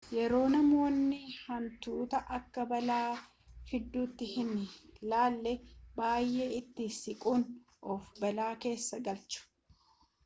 yeroo namoonni hantuuta akka balaa fiduttii hin laalle baay'ee itti siqanii of balaa keessa galchu